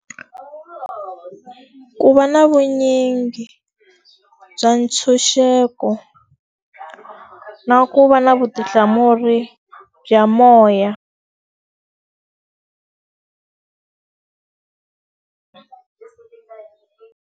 Ku va na vunyingi bya ntshunxeko, na ku va na vutihlamuleri bya moya.